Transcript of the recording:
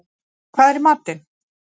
Steinn, hvað er í matinn?